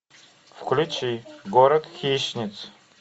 включи город хищниц